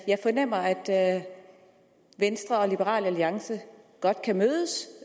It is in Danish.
jeg fornemmer at venstre og liberal alliance godt kan mødes